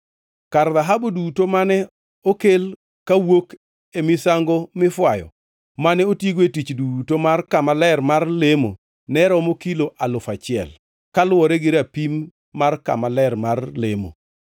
Kar dhahabu duto mane okel kawuok e misango mifwayo mane otigo e tich duto mar kama ler mar lemo ne romo kilo alufu achiel (1,000) kaluwore gi rapim mar kama ler mar lemo.